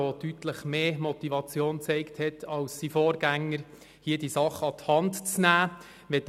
Er hat eine deutlich stärkere Motivation gezeigt, diese Sache an die Hand zu nehmen, als sein Vorgänger.